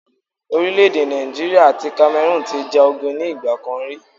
Orílẹ̀ èdè Nàìjíríà àti Cameroon ti ja ogun ní ìgbà kan ri